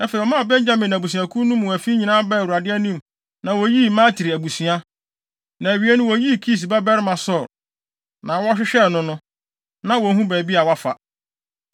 Afei ɔmaa Benyamin abusuakuw no mu afi nyinaa baa Awurade anim na woyii Matri abusua, na awiei no woyii Kis babarima Saulo. Na wɔhwehwɛɛ no no, na wonhu baabi a wafa.